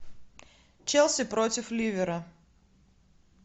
челси против ливера